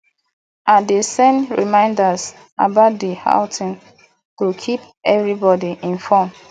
i dey send reminders about the outing to keep everybody informed